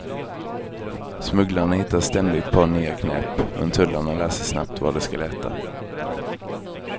Smugglarna hittar ständigt på nya knep, men tullarna lär sig snabbt var de ska leta.